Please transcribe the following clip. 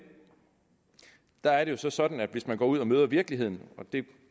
der er det jo så sådan at hvis man går ud og møder virkeligheden og det